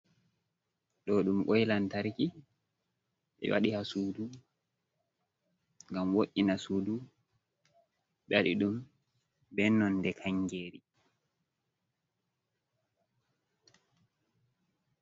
Ɗo ɗum koi lantarki ɓe wadi ha suudu ngam woina suudu, ɓe waɗi ɗum be nonde kangeri.